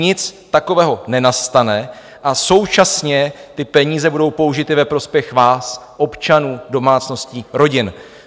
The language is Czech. Nic takového nenastane a současně ty peníze budou použity ve prospěch vás, občanů, domácností, rodin.